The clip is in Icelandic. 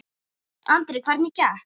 Andri: Hvernig gekk?